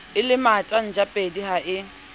o lematsa ntjapedi ha e